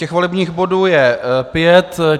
Těch volebních bodů je pět.